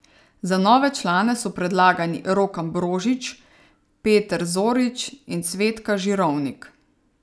Za nove člane so predlagani Rok Ambrožič, Peter Zorič in Cvetka Žirovnik.